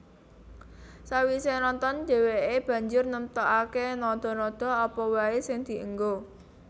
Sawisé nonton dhèwèké banjur nemtokaké nada nada apa waé sing dienggo